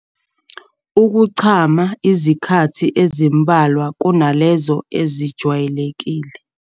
Ukuchama izikhathi ezimbalwa kunalezo ezijwayelekile.